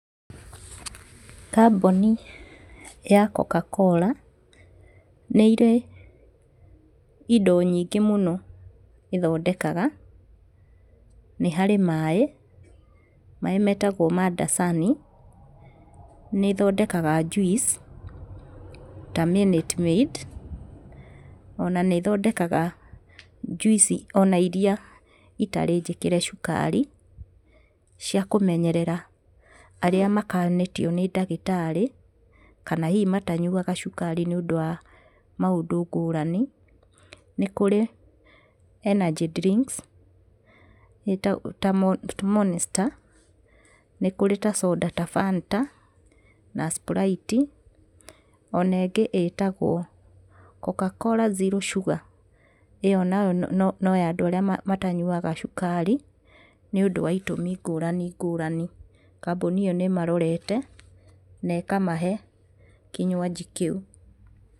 Kambũni ya Coca-Cola, nĩirĩ indo nyingĩ mũno ĩthondekaga. Nĩ harĩ maĩ, maĩ metagwo ma Dasai, nĩĩthondekaga njuici, ta Minute Maid, ona nĩĩthondekaga njuici ona iria citarĩ njĩkĩre cukari, cia kũmenyerera arĩa makanĩtio nĩ ndagĩtarĩ kana ihi matanyuga cukari nĩũndũ wa maũndũ ngũrani. Nĩ kũrĩ energy drinks ta Monesta, nĩ kũrĩ ta soda ta Fanta na Sprite, ona ĩngĩ ĩtagwo Coca-Cola Zero Sugar ĩyo nayo no ya andũ arĩa matanyuga cukari nĩũndũ wa itũmi ngũrani ngũrani, kambũni ĩyo nĩĩmarorete na ĩkamahe kinywanji kĩu.